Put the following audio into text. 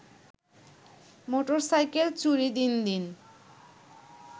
motorcycle চুরি দিন দিন